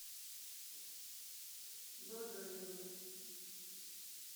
багаева